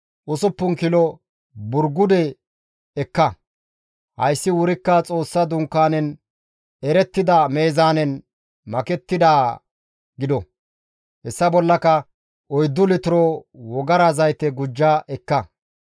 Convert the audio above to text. usuppun kilo burgude ekka. Hayssi wurikka Xoossa Dunkaanen erettida meezaanen meezaanettidaa gido. Hessa bollaka oyddu litiro wogara zayte gujja ekka.